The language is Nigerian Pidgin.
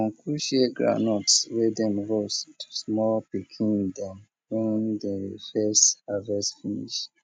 uncle share groundnuts wey dem roast to small pikn dem wen de first harvest finish